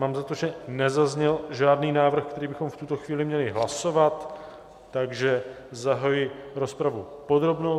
Mám za to, že nezazněl žádný návrh, který bychom v tuto chvíli měli hlasovat, takže zahajuji rozpravu podrobnou.